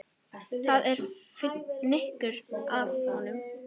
Það er fnykur af honum.